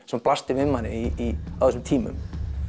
sem blasti við manni á þessum tímum